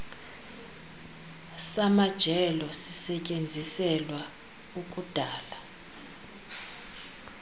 samajelo sisetyenziselwa ukudala